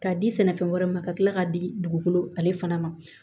K'a di sɛnɛfɛn wɛrɛ ma ka tila k'a di dugukolo ale fana ma